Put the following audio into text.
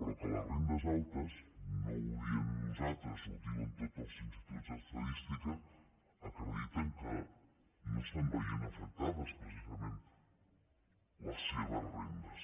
però que les rendes altes no ho diem nosaltres ho diuen tots els instituts d’estadística ho acrediten no estan veient afectades precisament les seves rendes